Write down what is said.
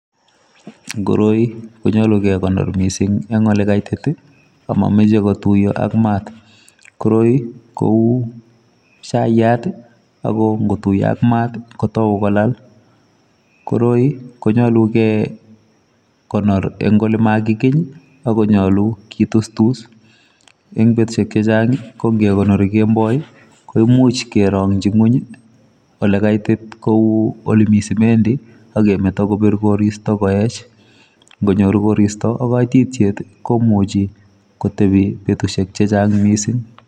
Koroi ko nyaluu kekonoor missing en ole kaitit ak mamachei kotuya ak maat koroi ko uu chayaat ii ako ingotuyaa ak maat kotai kolaal koroi ii konyalugei konyoor en ole makikiiby ak nyaluu kitustus eng betusiek che chaang ko ingekonori kemboi ko imuuch kerangyiin kweeny ii ole kaitit kouu ole Mii simendii ak kemetaa kobiit koristoi kowech ingonyoor koristoi ak kaititiet ii komuchii kotebii betusiek che chaang missing.